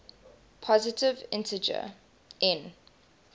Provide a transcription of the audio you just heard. positive integer n